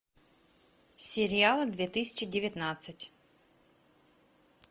сериалы две тысячи девятнадцать